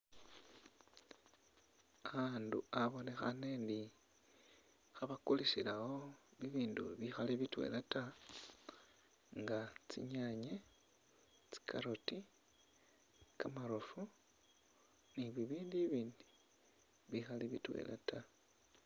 Akhundu abonekhane , khebakulisilawo ibindu bikhali bitwelata nga tsinyanye , carrot , kamarofu ni bibindu ibindi bikhali bitwelata .